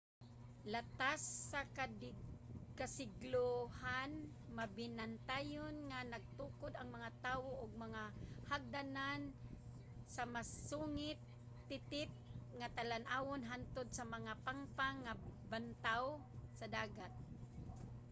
latas sa kasiglohan mabinantayon nga nagtukod ang mga tawo og mga hagdanan sa masungit titip nga talan-awon hantod sa mga pangpang nga bantaaw sa dagat